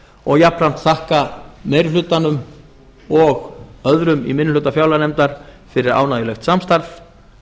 og jafnframt þakka meiri hlutanum og öðrum í minni hluta fjárlaganefndar fyrir ánægjulegt samstarf